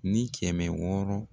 Ni kɛmɛ wɔɔrɔ